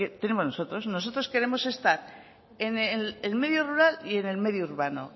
tenemos nosotros nosotros queremos estar en el medio rural y en el medio urbano